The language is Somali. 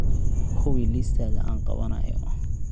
hubi liistada aan qabanayo